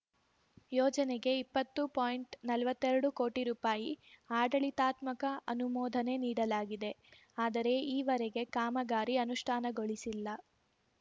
ಯೋಜನೆಗೆ ಇಪ್ಪತ್ತು ಪಾಯಿಂಟ್ನಲ್ವತ್ತೆರಡು ಕೋಟಿ ರು ಆಡಳಿತಾತ್ಮಕ ಅನುಮೋದನೆ ನೀಡಲಾಗಿದೆ ಆದರೆ ಈವರೆಗೆ ಕಾಮಗಾರಿ ಅನುಷ್ಠಾನಗೊಳಿಸಿಲ್ಲ